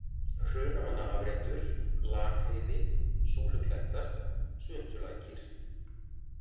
Hrunamannaafréttur, Lakheiði, Súluklettar, Svuntulækir